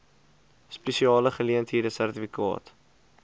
spesiale geleenthede sertifikaat